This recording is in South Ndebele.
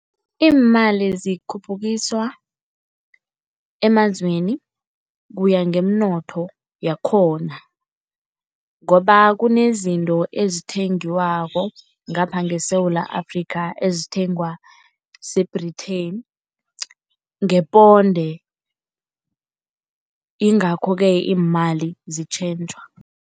Iimali zikhuphukiswa emazweni kuya ngeminotho yakhona ngoba kunezinto ezithengiwako ngapha ngeSewula Afrika ezithengwa se-Britain ngeponde, ingakho-ke imali zitjhentjhwa.